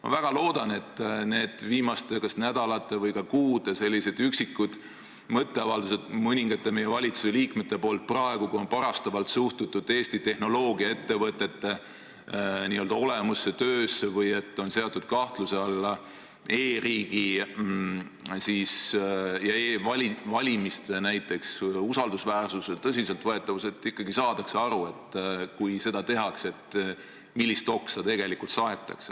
Ma väga loodan, et need viimaste nädalate või ka kuude üksikud mõtteavaldused mõningate meie valitsusliikmete suust, kui on kas parastavalt suhtutud Eesti tehnoloogiaettevõtete olemusse-töösse või seatud kahtluse alla e-riigi ja näiteks e-valimiste usaldusväärsus ja tõsiseltvõetavus, jäävad sinnapaika ning edaspidi ikkagi saadakse aru, millist oksa seda tehes saetakse.